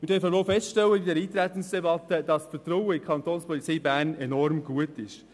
Wir dürfen in dieser Eintretensdebatte feststellen, dass das Vertrauen in die Kapo Bern enorm hoch ist.